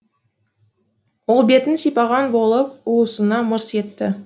ол бетін сипаған болып уысына мырс етті